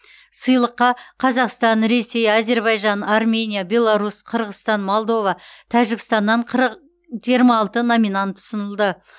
сыйлыққа қазақстан ресей әзербайжан армения беларусь қырғызстан молдова тәжікстаннан қыр жиырма алты номинант ұсынылды